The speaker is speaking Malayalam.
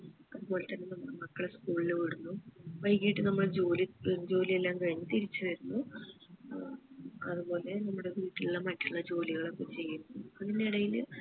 അതുപോലെ തന്നെ നമ്മളെ മക്കളെ school ഇൽ വിടുന്നു വൈകിട്ട് നമ്മൾ ജോലി തീ ജോലി എല്ലാം കഴിഞ് തിരിച്ചു വരുന്നു ഏർ അതുപോലെ നമ്മടെ വീട്ടിലുള്ള മറ്റുള്ള ജോലികൾ ഒക്കെ ചെയ്ത് അതിനിടയില്